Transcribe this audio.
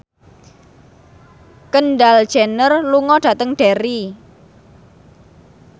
Kendall Jenner lunga dhateng Derry